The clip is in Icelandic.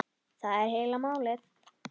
Það er heila málið!